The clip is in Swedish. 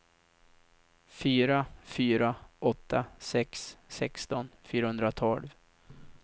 fyra fyra åtta sex sexton fyrahundratolv